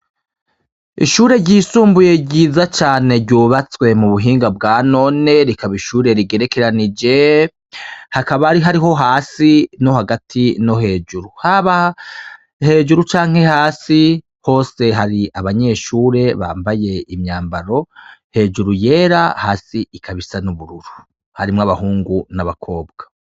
Ishure ryisumbuye ryiza cane ryubatswe mu buhinga bwanone rikaba ishure rigerekeranije hakaba ari hariho hasi no hagati no hejuru haba hejuru canke hasi hose hari abanyeshure bambaye imyambaro hejuru yera hasi ikaba isa n'ubururu harimwo abahungu n'abakobwa.